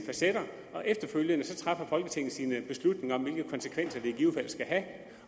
facetter og efterfølgende træffer folketinget beslutning om hvilke konsekvenser det i givet fald skal have